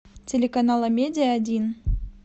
телеканал амедиа один